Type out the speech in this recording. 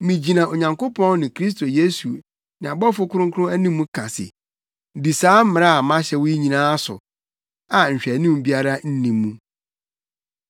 Migyina Onyankopɔn ne Kristo Yesu ne abɔfo kronkron anim ka se, di saa mmara a mahyɛ wo yi nyinaa so a nhwɛanim biara nni mu.